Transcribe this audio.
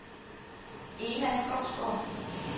Ena Skovsgaard